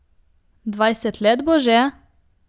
Dvajset let bo že?